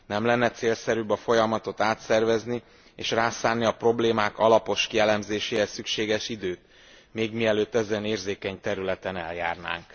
Nem lenne célszerűbb a folyamatot átszervezni és rászánni a problémák alapos kielemzéséhez szükséges időt még mielőtt ezen érzékeny területen eljárnánk?